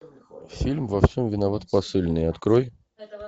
фильм во всем виноват посыльный открой